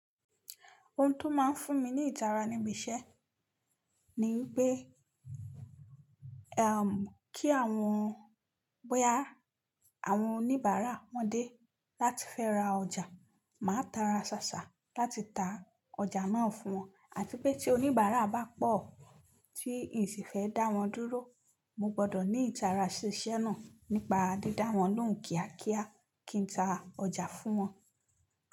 Ohun tó máa ń fún mi ní ìtara níbi iṣẹ́ ni pé, kí àwọn, bóyá àwọn oníbàárà wọ́n dé láti fẹ́ ra ọjà, màá tara ṣàṣà láti ta ọjà náà fún wọn àti pé tí oníbàárà bá pọ̀ tí ìsì fẹ́ dá wọn dúró, mo gbọ́dọ̀ ní ìtara ṣiṣẹ́ náà nípa dídá wọn lóhùn kíákíá kí n ta ọjà fún wọn.